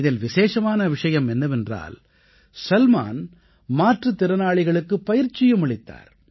இதில் விசேஷமான விஷயம் என்னவென்றால் சல்மான் மாற்றுத் திறனாளிகளுக்குப் பயிற்சியும் அளித்தார்